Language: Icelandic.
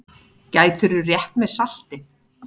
Gætirðu rétt mér saltið?